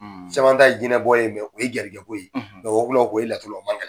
Caman ta ye jinɛ bɔ ko ye. o ye gɛrɛsɛkɛ ko ye. wɔkulɔ o ye laturu lɔ o man gɛlɛ.